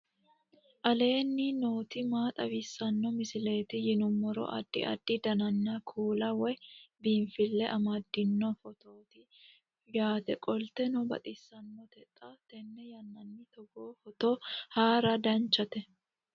aleenni nooti maa xawisanno misileeti yinummoro addi addi dananna kuula woy biinsille amaddino footooti yaate qoltenno baxissannote xa tenne yannanni togoo footo haara danvchate